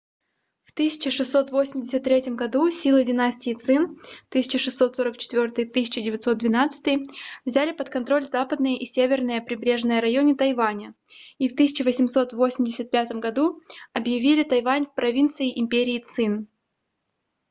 в 1683 году силы династии цин 1644-1912 взяли под контроль западные и северные прибрежные районы тайваня и в 1885 году объявили тайвань провинцией империи цин